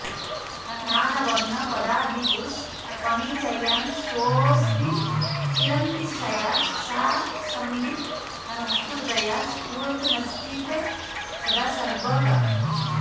नानावर्णपदादिपुष्पनिचयान् स्वस्मिन् किरन्तीच्छया सा संवित् सुकृतोदया स्फुरतु नश्चित्ते सदा सर्वगा